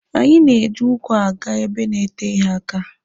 Anyị na-eji ụkwụ aga ebe na-eteghi aka.